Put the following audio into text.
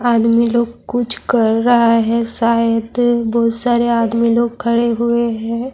ادمی لوگ کچھ کر رہا ہے شاید بہت سارے ادمی لوگ کھڑے ہوئے ہیں-